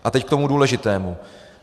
A teď k tomu důležitému.